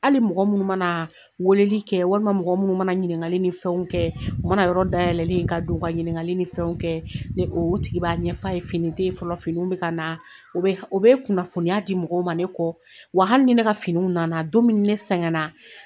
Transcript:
Hali mɔgɔ munnu manaa weeleli kɛ walima mɔgɔ munnu mana ɲininkali ni fɛnw kɛ, u mana yɔrɔ dayɛlɛlen ye ka don ka ɲininkali ni fɛnw kɛ, ni oo o tigi b'a ɲɛf'a ye fini te ye fɔlɔ, fininw be ka na. O be h o be kunnafoniya di mɔgɔw ma ne kɔ. Wa hali ni ne ka finiw nana don min ni ne sɛgɛnna